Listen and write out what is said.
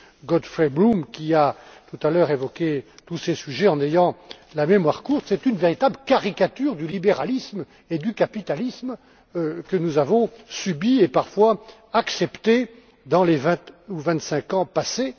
Godfrey Bloom, qui a tout à l'heure évoqué tous ces sujets en ayant la mémoire courte, c'est une véritable caricature du libéralisme et du capitalisme que nous avons subie et, parfois, acceptée au cours des vingt ou vingt cinq ans passés.